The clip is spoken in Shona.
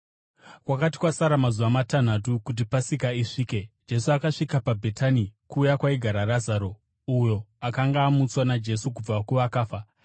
Kwakati kwasara mazuva matanhatu kuti Pasika isvike, Jesu akasvika paBhetani, kuya kwaigara Razaro, uyo akanga amutswa naJesu kubva kuvakafa.